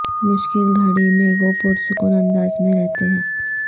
مشکل گھڑی میں وہ پرسکون انداز میں رہتے ہیں